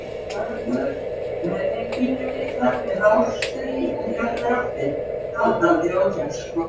Hörður með mig pínulitla með hárstrý út í allar áttir, haldandi á kexköku.